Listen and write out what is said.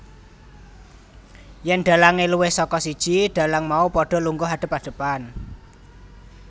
Yèn dhalange luwih saka siji dhalang mau padha lungguh adep adepan